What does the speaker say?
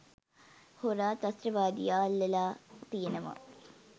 හොරා ත්‍රස්තවාදියා අල්ලලා තියෙනවා.